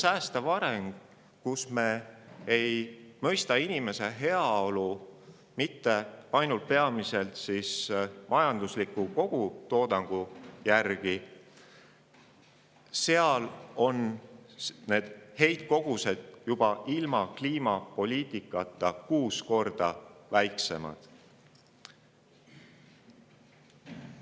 Säästva arengu korral, kus inimese heaolu ei mõisteta mitte ainult majandusliku kogutoodangu järgi, on heitkogus juba ilma kliimapoliitikata umbes kuus korda väiksem,.